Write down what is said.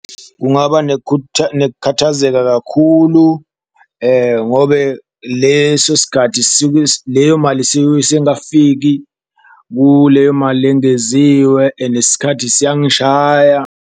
Kungaba nekukhathazeka kakhulu ngobe leso sikhathi leyo mali sengakafiki kuleyo mali lengeziwe, nesikhathi siyangishaya.